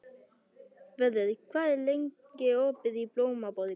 Vörður, hvað er lengi opið í Blómaborg?